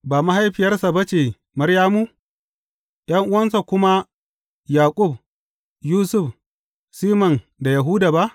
Ba mahaifiyarsa ba ce Maryamu, ’yan’uwansa kuma Yaƙub, Yusuf, Siman da Yahuda ba?